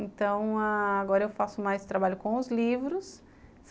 Então, agora eu faço mais trabalho com os livros.